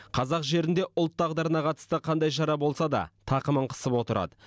қазақ жерінде ұлт тағдырына қатысты қандай шара болса да тақымын қысып отырады